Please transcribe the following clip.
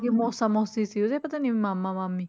ਮੋਸਾ ਮੋਸੀ ਸੀ ਉਹਦੇ ਪਤਾ ਨੀ ਮਾਮਾ ਮਾਮੀ